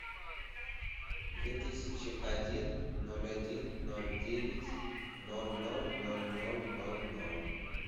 две тысячи один ноль один ноль девять ноль ноль ноль ноль ноль ноль